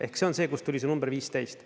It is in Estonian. Ehk see on see, kust tuli see number 15.